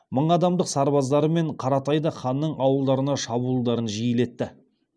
мың адамдық сарбаздарымен қаратай да ханның ауылдарына шабуылдарын жиілетті